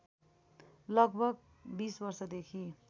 लगभग २० वर्षदेखि